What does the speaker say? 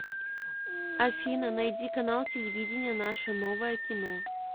афина найди канал телевидения наше новое кино